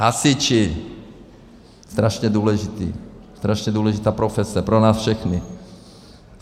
Hasiči, strašně důležití, strašně důležitá profese pro nás všechny.